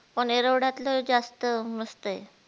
पण एरोध्यातल जास्त मस्त हे.